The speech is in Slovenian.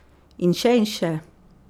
In, še in še.